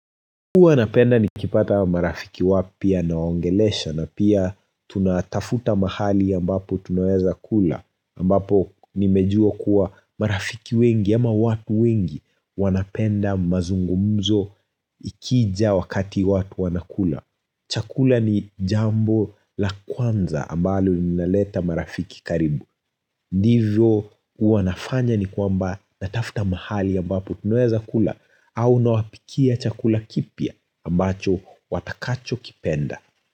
Huwa napenda nikipata marafiki wapya nawaongelesha na pia tunatafuta mahali ambapo tunaeza kula ambapo nimejua kuwa marafiki wengi ama watu wengi wanapenda mazungumzo ikija wakati watu wanakula. Chakula ni jambo la kwanza ambalo linaleta marafiki karibu. Ndivyo huwa nafanya ni kwamba natafuta mahali ambapo tunaeza kula au na wapikia chakula kipya ambacho watakacho kipenda.